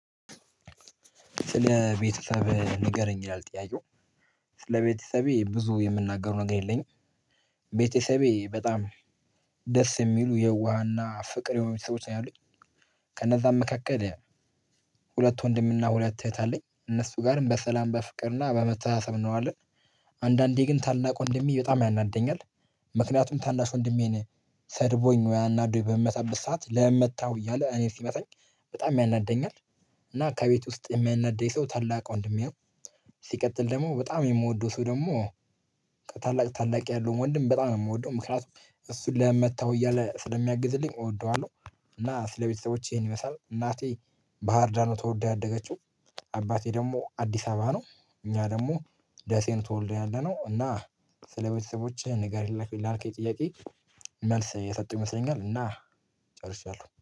ስለ ቤተሰብ ንገረኝ ያልጠያየው? ስለ ቤተሰቤ ብዙ የምናገረው ነገር የለኝም። ቤተሰቤ በጣም ደስ የሚሉ የዋህና ፍቅር የሆኑ ሰዎች ነው ያሉኝ። ከእነዛ መካከል ሁለት ወንድምና ሁለት እህት አለኝ እነሱ ጋርም በሰላም በፍቅርና በመተሳሰብ እንሆናለን። አንዳንዴ ግን ታላቁ ወንድሜ በጣም ያናደኛል። ምክንያቱም ታናሽ ወንድሜን ሰድቦኝ ወይ አናዶኝ በምመታበት ሰዓት ለምን መታው እያለ እኔ ሲመታኝ በጣም ያናደኛል። እና ከቤት ውስጥ የሚያናደኝ ሰው ታላቅ ወንድሜ። ሲቀጥል ደግሞ በጣም የምወደው ሰው ደግሞ ከታላቅ ታላቅ ያለው ወንድም በጣም ነው የምወደው ምክንያቱም እሱን ለምን መታው እያለ ስለሚያግዝልኝ እወደዋለሁ። እና ስለቤተሰቦቼ ይሄን ይመስላል እናቴ ባህር ዳር ተወልዳ ያደገችው። አባቴ ደግሞ አዲስ አበባ ነው። እኛ ደግሞ ደሴን ተወልደን ያለነው እና ስለቤተሰቦቼ ንገሪኝ ላልክ ላልከኝ ጥያቄ መልስ የሰጡ ይመስለኛል እና ጨርሻለሁ